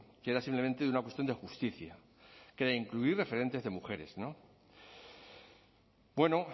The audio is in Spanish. que era simplemente de una cuestión de justicia que era incluir referentes de mujeres no bueno